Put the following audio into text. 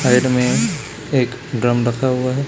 Side में एक drum रखा हुआ है।